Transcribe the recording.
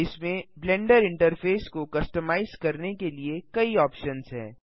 इसमें blender interface को customise करने के लिए कई ऑप्शन्स हैं